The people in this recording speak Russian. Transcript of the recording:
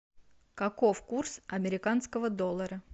каков курс американского доллара